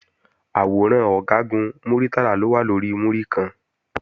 Àwòrán Ọ̀gágun Muritala ló wà lórí múríkan